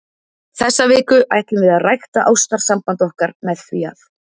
Þessa viku ætlum við að rækta ástarsamband okkar með því að.